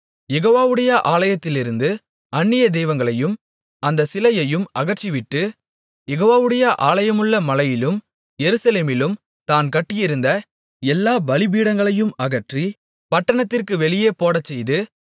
யெகோவாவுடைய ஆலயத்திலிருந்து அந்நிய தெய்வங்களையும் அந்த சிலையையும் அகற்றிவிட்டு யெகோவாவுடைய ஆலயமுள்ள மலையிலும் எருசலேமிலும் தான் கட்டியிருந்த எல்லாப் பலிபீடங்களையும் அகற்றி பட்டணத்திற்கு வெளியே போடச் செய்து